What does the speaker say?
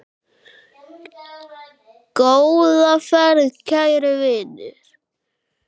Góða ferð, kæri vinur.